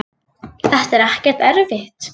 þetta er ekkert erfitt.